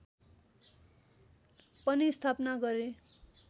पनि स्थापना गरे